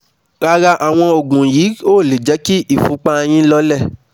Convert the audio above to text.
Rárá àwọn òògùn yìí ò lè jẹ́ kí ìfúnpá yín ó lọọlẹ̀